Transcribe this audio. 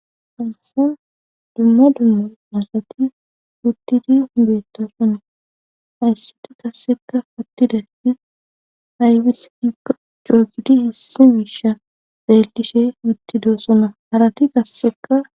Hayasan dumma dumma asati wuttidi beetto sune hayssiti gasseka pattidafi aybis ia joogidi hissi miisha deellishe wuttido suna harati gasseka